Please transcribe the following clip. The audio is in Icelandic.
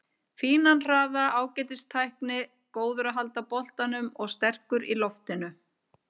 Fínan hraða, ágætis tækni, góður að halda boltanum og sterkur í loftinu.